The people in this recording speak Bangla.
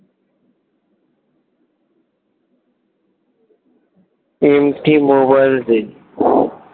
এই একটি মোবাইল দে